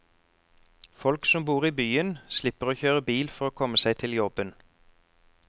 Folk som bor i byen, slipper å kjøre bil for å komme seg til jobben.